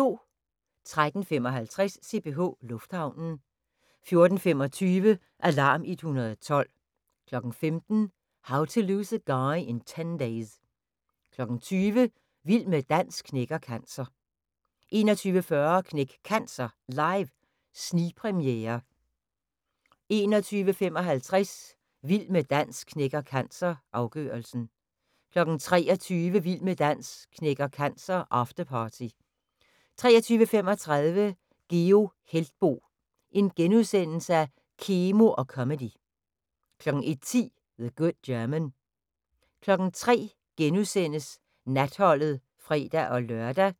13:55: CPH Lufthavnen 14:25: Alarm 112 15:00: How to Lose a Guy in 10 Days 20:00: Vild med dans knækker cancer 21:40: Knæk Cancer Live – snigpremiere 21:55: Vild med dans knækker cancer – afgørelsen 23:00: Vild med dans knækker cancer – afterparty 23:35: Geo Heltboe – Kemo og comedy * 01:10: The Good German 03:00: Natholdet *(fre-lør)